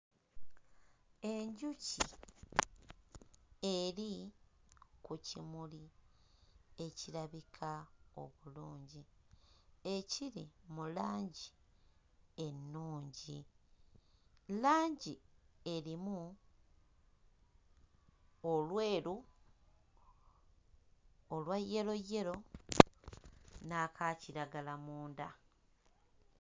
Enjuki eri ku kimuli ekirabika obulungi ekiri mu langi ennungi. Langi erimu olweru, olwa yeroyero n'aka kiragala munda.